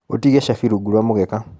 ũtige cabi rungu rũa mũgeka.